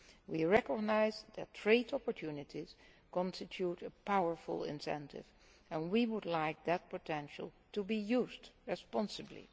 We recognise that trade opportunities constitute a powerful incentive and we would like that potential to be used responsibly.